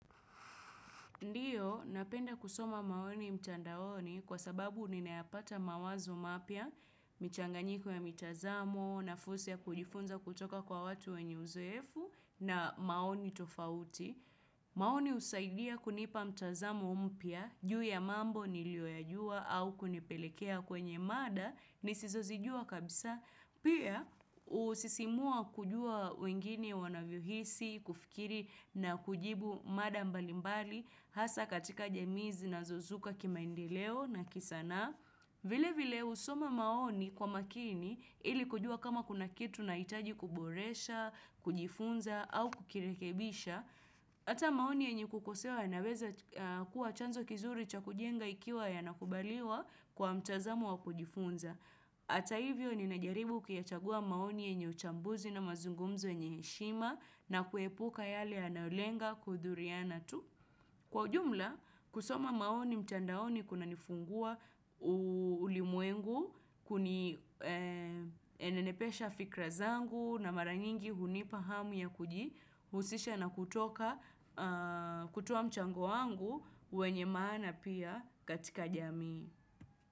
Ndiyo, napenda kusoma maoni mtandaoni kwa sababu ninayapata mawazo mapya, michanganyiko ya mitazamo, na fursa ya kujifunza kutoka kwa watu wenye uzoefu na maoni tofauti. Maoni husaidia kunipa mtazamo mpya, juu ya mambo nilio yajua au kunipelekea kwenye mada, nisizozijua kabisa. Pia usisimua kujua wengine wanavyo hisi, kufikiri na kujibu mada mbalimbali, Hasa katika jamii zinazo zuka kimaendeleo na kisanaa. Vile vile husoma maoni kwa makini ili kujua kama kuna kitu naitaji kuboresha, kujifunza au kukirekebisha. Hata maoni yenye kukosewa yanaweza kuwa chanzo kizuri cha kujenga ikiwa yanakubaliwa kwa mtazamo wa kujifunza. Hata hivyo ninajaribu kuyachagua maoni yenye uchambuzi na mazungumzo yenye hshima na kuepuka yale yanayolenga kudhuriana tu. Kwa ujumla, kusoma maoni mtandaoni kuna nifungua ulimwengu, enenepesha fikira zangu na mara nyingi hunipa hamu ya kujihusisha na kutoka kutoa mchango wangu wenye maana pia katika jamii.